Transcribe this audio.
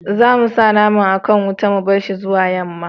za mu sa naman a kan wuta mu barshi zuwa yamma